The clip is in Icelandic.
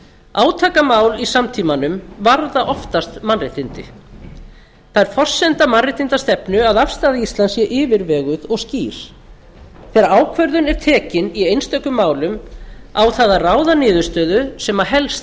átakamál í samtímanum varða oftast mannréttindi það er forsenda mannréttindastefnu að afstaða íslands sé yfirveguð og skýr þegar ákvörðun er tekin í einstökum málum á það að ráða niðurstöðu sem helst